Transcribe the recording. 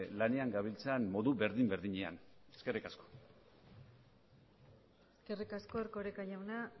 lanean gabiltzan modu berdin berdinean eskerrik asko eskerrik asko erkoreka jauna